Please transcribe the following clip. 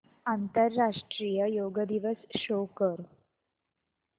आंतरराष्ट्रीय योग दिवस शो कर